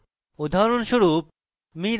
উদাহরণস্বরূপ